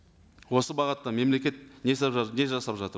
осы бағытта мемлекет не жасап жатыр